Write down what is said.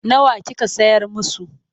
Nawa kika sayar musu?